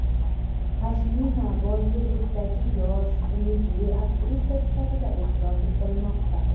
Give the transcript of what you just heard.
Pashmina Bollivuddagi yosh, umidli aktrisa sifatida e’tirof etilmoqda.